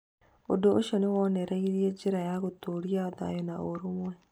Ũndũ ũcio nĩ wonanirie njĩra ya gũtũũria thayũ na ũrũmwe.